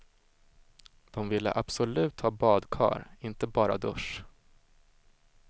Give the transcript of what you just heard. De ville absolut ha badkar, inte bara dusch.